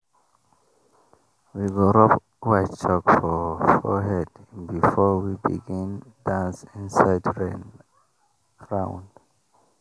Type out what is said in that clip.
we go rub white chalk for forehead before we begin dance inside rain round.